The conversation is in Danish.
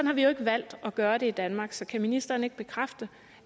har vi jo ikke valgt at gøre det i danmark så kan ministeren ikke bekræfte